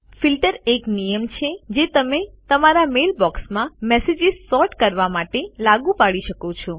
filter એક નિયમ છે જે તમે તમારા મેલ બોક્સમાં મેસેજીસ સૉર્ટ કરવા માટે લાગુ પાડી શકો છો